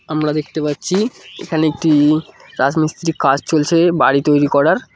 আমরা দেখতে পাচ্ছি এখানে একটি রাজমিস্ত্রির কাজ চলছে বাড়ি তৈরি করার।